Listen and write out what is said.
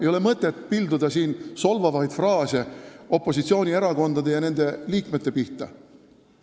Ei ole mõtet pilduda solvavaid fraase opositsioonierakondade ja nende liikmete pihta.